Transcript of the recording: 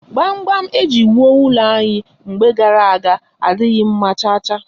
Gbamgbam eji wụọ ụlọ anyị mgbe gara aga adịghị mma cha cha